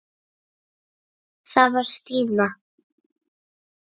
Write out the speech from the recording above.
Það var Stína.